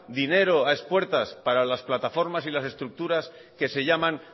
dinero a expuestas para las plataformas y las estructuras que se llaman